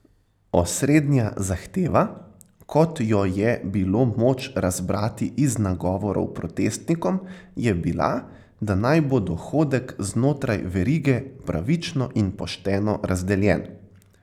Osrednja zahteva, kot jo je bilo moč razbrati iz nagovorov protestnikom, je bila, da naj bo dohodek znotraj verige pravično in pošteno razdeljen.